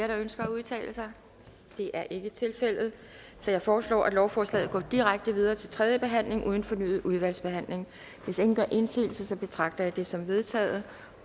der ønsker at udtale sig det er ikke er tilfældet så jeg foreslår at lovforslaget går direkte videre til tredje behandling uden fornyet udvalgsbehandling hvis ingen gør indsigelse betragter jeg det som vedtaget